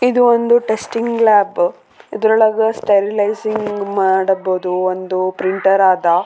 ಇದು ಒಂದು testing lab ಇದ್ರೊಳಗ ಸ್ಟೆರಿಲೈಸಿಂಗ್ ಮಾಡ್ಬಹುದು ಒಂದು ಪ್ರಿಂಟರ್ ಆದ .